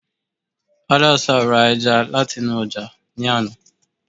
haddasa ra eja lat'inu ọkan ni àná